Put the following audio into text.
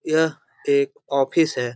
यह एक ऑफिस हैं।